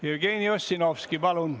Jevgeni Ossinovski, palun!